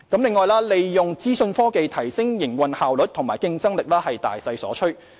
此外，利用資訊科技提升營運效率及競爭力是大勢所趨。